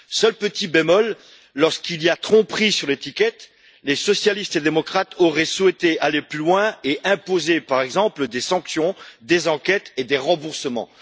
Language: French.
Seul petit bémol, pour les cas de tromperie sur l'étiquette, les socialistes et démocrates auraient souhaité aller plus loin et imposer, par exemple, des sanctions, des enquêtes et des remboursements.